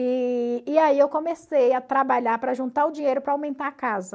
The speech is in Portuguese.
E e aí eu comecei a trabalhar para juntar o dinheiro para aumentar a casa.